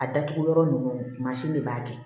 A datugu yɔrɔ ninnu mansin de b'a kɛ